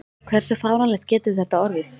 Hversu fáránlegt getur þetta orðið?